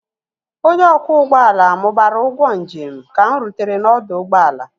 onye ọkwọ ụgbọ ala mụbara ụgwọ njem ka m rutere n'ọdụ ụgbọ ala